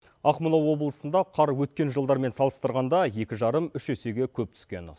ақмола облысында қар өткен жылдармен салыстырғанда екі жарым үш есеге көп түскен